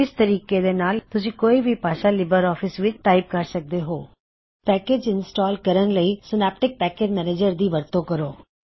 ਇਸ ਤਰੀਕੇ ਦਾ ਇਸਤੇਮਾਲ ਕਰਕੇ ਤੁਸੀਂ ਕੋਈ ਵੀ ਭਾਸ਼ਾ ਲਿਬਰ ਆਫਿਸ ਵਿੱਚ ਟਾਇਪ ਕਰ ਸਕਦੇ ਹੋ ਪੈਕਿਜਜ਼ ਇੰਸਟਾਲ ਕਰਨ ਲਈ ਸਿਨੈਪਟਿਕ ਪੈਕਿਜ਼ ਮੈਨਿਜ਼ਰ ਦੀ ਵਰਤੋਂ ਕਰੋ